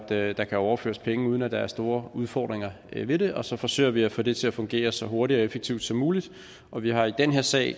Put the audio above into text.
at der kan overføres penge uden at der er store udfordringer ved det og så forsøger vi at få det til at fungere så hurtigt og effektivt som muligt og vi har i den her sag